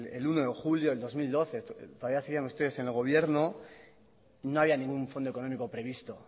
el uno de julio del dos mil doce todavía siguen ustedes en el gobierno no había ningún fondo económico previsto